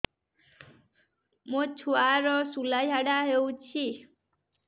ମୋ ଛୁଆର ସୁଳା ଝାଡ଼ା ହଉଚି